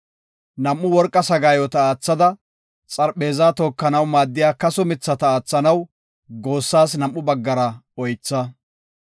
Nam7u worqa sagaayota oothada, xarpheeza tookanaw maaddiya kaso mithata aathanaw goossaas nam7u baggara oytha.